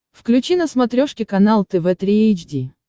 включи на смотрешке канал тв три эйч ди